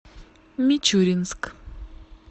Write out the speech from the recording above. мичуринск